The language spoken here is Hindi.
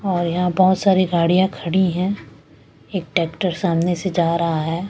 और यहाँ बहुत सारी गाड़ियां खड़ी हैं एक ट्रैक्टर सामने से जा रहा है।